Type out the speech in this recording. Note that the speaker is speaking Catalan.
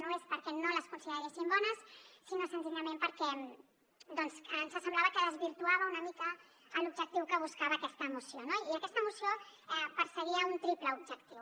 no és perquè no les consideréssim bones sinó senzillament perquè ens semblava que desvirtuaven una mica l’objectiu que buscava aquesta moció no i aquesta moció perseguia un triple objectiu